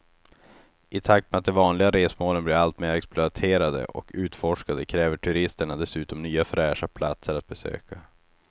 I takt med att de vanliga resmålen blir allt mer exploaterade och utforskade kräver turisterna dessutom nya fräscha platser att besöka.